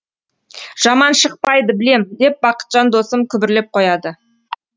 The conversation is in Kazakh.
жаман шықпайды білем деп бақытжан досым күбірлеп қояды